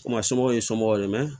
Komi a somɔgɔw ye somɔgɔw